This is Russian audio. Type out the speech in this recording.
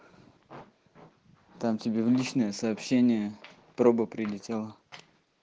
там тебе в личное сообщение прога прилетела